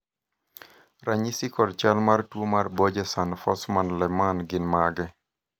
ranyisi kod chal mar tuo mar Borjeson Forssman Lehmann gin mage?